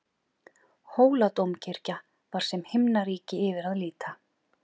Hóladómkirkja var sem himnaríki yfir að líta.